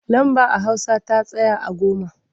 Lamba a hausa ta tsaya a goma.